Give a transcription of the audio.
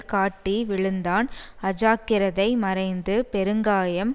காட்டி விழுந்தான் அஜாக்கிரதை மறைந்து பெருங்காயம்